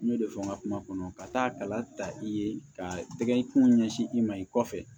N y'o de fɔ n ka kuma kɔnɔ ka taa kala ta i ye ka tɛgɛ kungo ɲɛsin i ma i kɔfɛ